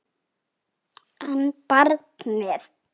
En barnið?